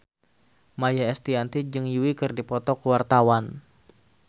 Maia Estianty jeung Yui keur dipoto ku wartawan